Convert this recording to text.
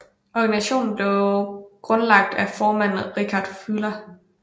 Organisationen blev grundlagt af formanden Richard Fuller